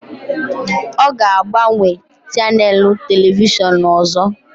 Ọ ga-agbanwe chanèlụ telivishọn ọzọ